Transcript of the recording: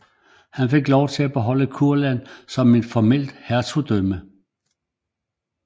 Han fik lov at beholde Kurland som et formelt hertugdømme